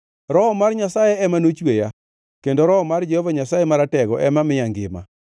Roho mar Nyasaye ema nochweya, kendo Roho mar Jehova Nyasaye Maratego ema miya ngima.